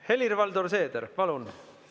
Helir-Valdor Seeder, palun!